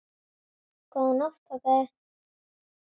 Góða nótt, pabbi.